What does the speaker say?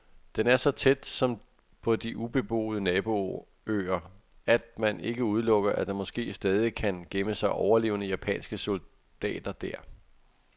Den er så tæt, som på de ubeboede naboøer, at man ikke udelukker, at der måske stadig kan gemme sig overlevende japanske soldater der.